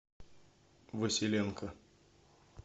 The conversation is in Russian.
василенко